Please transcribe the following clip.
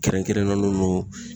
Kɛrɛnkɛrɛnnen don